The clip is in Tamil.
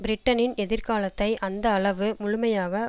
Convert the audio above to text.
பிரிட்டனின் எதிர்காலத்தை அந்த அளவு முழுமையாக